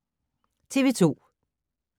TV 2